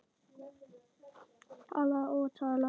Talaði og talaði.